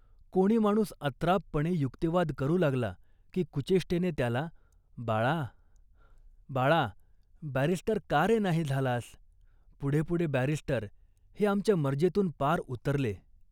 कोणी माणूस अत्रापपणे युक्तिवाद करू लागला, की कुचेष्टेने त्याला, 'बाळा, बाळा, बॅरिस्टर का रे नाही झालास. पुढे पुढे बॅरिस्टर हे आमच्या मर्जीतून पार उतरले